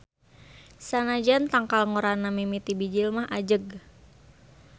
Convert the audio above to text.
Sanajan tangkal ngorana mimiti bijil mah ajeg.